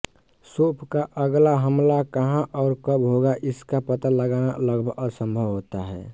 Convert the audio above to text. शोफ़ का अगला हमला कहां और कब होगा इसका पता लगाना लगभग असंभव होता है